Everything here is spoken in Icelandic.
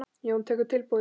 Jón tekur tilbúið dæmi.